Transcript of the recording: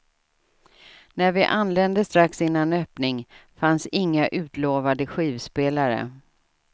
När vi anlände strax innan öppning fanns inga utlovade skivspelare.